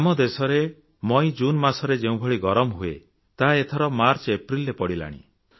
ଆମ ଦେଶରେ ମଇଜୁନ ମାସରେ ଯେଉଁଭଳି ଗରମ ହୁଏ ତାହା ଏଥର ମାର୍ଚ୍ଚଏପ୍ରିଲରେ ପଡ଼ିଲାଣି